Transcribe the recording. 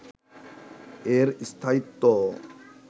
এর স্থায়িত্ব